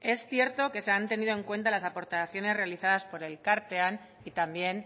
es cierto que se han tenido en cuenta las aportaciones realizadas por elkartean y también